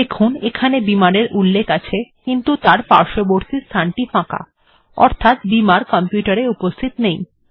দেখুন এখানে বিমার্ এর উল্লেখ আছে কিন্তু তার পার্শ্ববর্তী স্থানটি ফাঁকা অর্থাৎ এতে বিমার্ কম্পিউটার এ উপস্থিত নেই